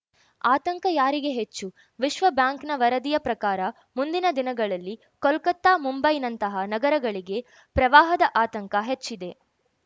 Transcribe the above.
ಆತಂಕ ಯಾರಿಗೆ ಹೆಚ್ಚು ವಿಶ್ವಬ್ಯಾಂಕ್‌ನ ವರದಿಯ ಪ್ರಕಾರ ಮುಂದಿನ ದಿನಗಳಲ್ಲಿ ಕೊಲ್ಕತ್ತಾ ಮುಂಬೈನಂತಹ ನಗರಗಳಿಗೆ ಪ್ರವಾಹದ ಆತಂಕ ಹೆಚ್ಚಿದೆ